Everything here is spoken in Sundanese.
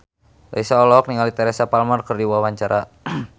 Raisa olohok ningali Teresa Palmer keur diwawancara